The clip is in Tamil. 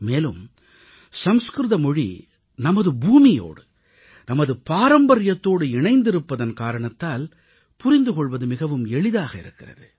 மேலும் சமஸ்கிருத மொழி நமது பூமியோடு நமது பாரம்பரியத்தோடு இணைந்திருப்பதன் காரணத்தால் புரிந்து கொள்வது மிகவும் எளிதாக இருக்கிறது